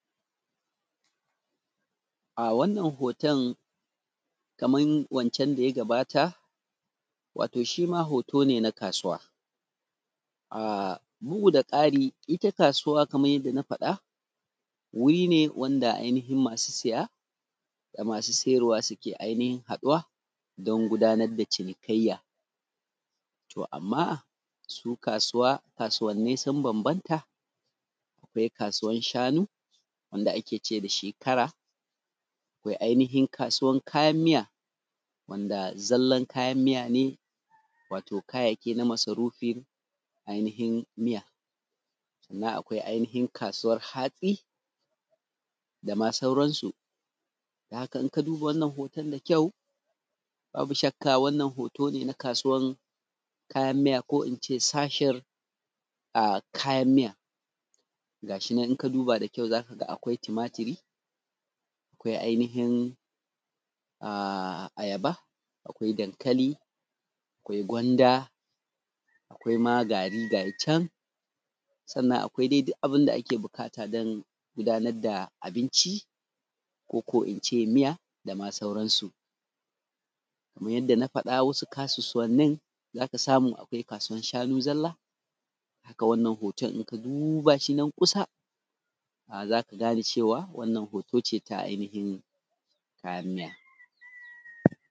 A wannan hoton, kaman wancan da ya gabata, wato shi ma hoto ce na kasuwa, a bugu da ƙari, ita kasuwa kaman yadda na fada wuri ne wanda ainihin masu siya da masu siyarwa suke ainihin haɗuwa don gudanar da cinikayya, to amma su kasuwa kasuwani sun bambanta, akwai kasuwan shanu wanda ake ce da shi kara akwai wato kasuwan kayan miya wanda zallan kayyaki na masarufi ainihin miya na, aihin kasuwan hatsi dama sauran su, don haka, in ka duba wannan hoton, babu shakka wannan hoto ne na kasuwan kayan miya, ko in ce shashishen kayan miya gashi nan, in ka duba da ƙawa, za ka ga akwai tumatiri, ainihin ayaba, arihin dankali, ari gwanda, ari ma gari gayican, sannan arihin ma duka abun da ake buƙata dan gudanar da abinci ko koma in ce miya dama sauranu kaman yadda na fada, su kasuwa ne ana samu a yi kasuwan shanu zalla, haka wannan hoto in ka duba shi gashi nan, kusa za ka gane cewa wannan hoto ce ta ainihin kayan miya.